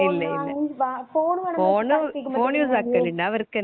phone വാങ്ങി phone വേണന്നു